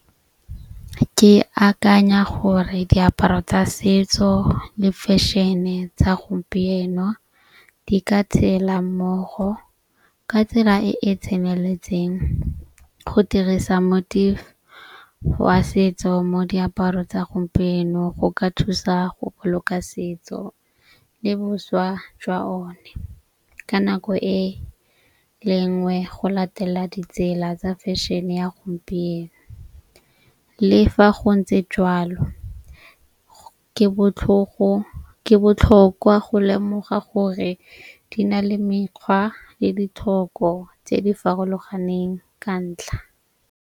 Ke akanya gore diaparo tsa setso le fashion-e tsa gompieno di ka tshela mmogo ka tsela e e tseneletseng go dirisa wa setso mo diaparo tsa gompieno. Go ka thusa go boloka setso le boswa jwa o ne. Ka nako e lengwe go latela ditsela tsa fashion-e ya gompieno. Le fa go ntse jalo ke botlhogo ke botlhokwa go lemoga gore di na le mekgwa le ditlhoko tse di farologaneng ka ntlha.